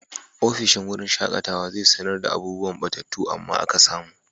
Ofishin wurin shaƙatawa zai sanar da abubuwan 'ɓatattu amma aka samu'.